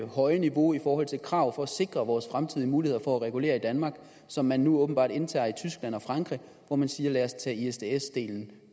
høje niveau i forhold til krav for at sikre vores fremtidige muligheder for at regulere i danmark som man nu åbenbart indtager i tyskland og frankrig hvor man siger lad os tage isds delen